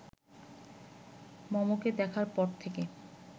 মমকে দেখার পর থেকে